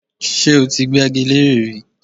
Ṣé ó ti gbẹ́gi leré rí?